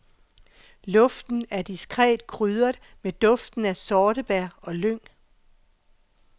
Luften er diskret krydret med duften af sortebær og lyng.